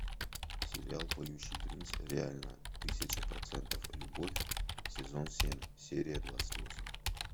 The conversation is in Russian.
сериал поющий принц реально тысяча процентов любовь сезон семь серия двадцать восемь